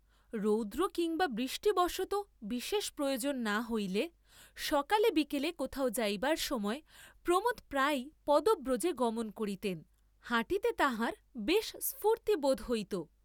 রৌদ্র কিম্বা বৃষ্টিবশতঃ বিশেষ প্রয়োজন না হইলে, সকালে বিকালে কোথাও যাইবার সময় প্রমোদ প্রায়ই পদব্রজে গমন করিতেন, হাঁটিতে তাঁহার বেশ স্ফূর্ত্তি বোধ হইত।